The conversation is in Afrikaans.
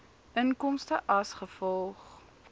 inkomste as gevolg